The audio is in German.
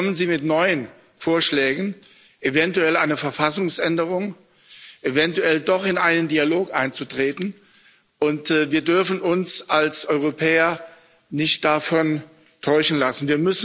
Jetzt kommen sie mit neuen Vorschlägen, eventuell eine Verfassungsänderung, eventuell doch in einen Dialog einzutreten, und wir dürfen uns als Europäer nicht davon täuschen lassen.